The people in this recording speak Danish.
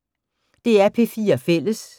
DR P4 Fælles